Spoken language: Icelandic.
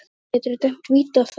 Hvernig geturðu dæmt víti á það?